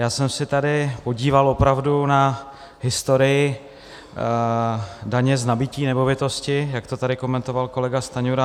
Já jsem se tady podíval opravdu na historii daně z nabytí nemovitosti, jak to tady komentoval kolega Stanjura.